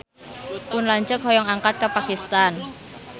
Pun lanceuk hoyong angkat ka Pakistan